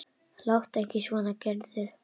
Láttu ekki svona Gerður.